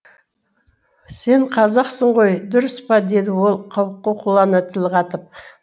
сен қазақсың ғой дұрыс па деді ол қауқуқылана тіл қатып